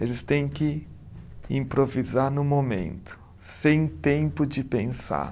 Eles têm que improvisar no momento, sem tempo de pensar.